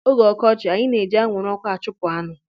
N'oge ọkọchị, anyị na-eji anwụrụ ọkụ achụpụ aṅụ